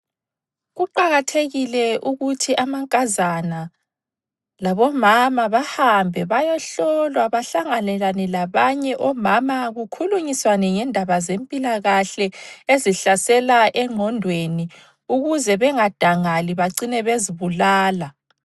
Kuqakathekile ukuthi amankazana labomama bahambe bayohlolwa bahlanganelane labanye omama kukhulunyiswane ngendaba zempilakahle ezihlasela engqondweni ukuze bangadangali becine bezibulala.